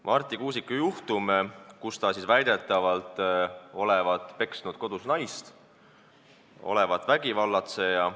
Marti Kuusik väidetavalt olevat peksnud kodus naist, ta olevat vägivallatseja.